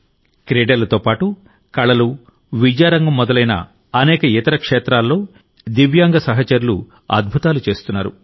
క్రీడలతోపాటు కళలు విద్యారంగం మొదలైన అనేక ఇతర క్షేత్రాల్లో దివ్యాంగసహచరులు అద్భుతాలు చేస్తున్నారు